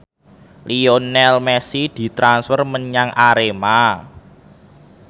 Lionel Messi ditransfer menyang Arema